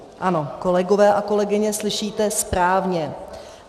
Ano, kolegové a kolegyně, slyšíte správně.